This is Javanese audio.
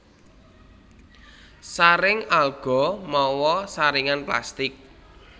Saring alga mawa saringan plastik